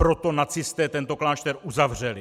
Proto nacisté tento klášter uzavřeli.